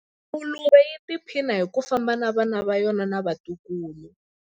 Nguluve yi tiphina hi ku famba na vana va yona na vatukulu.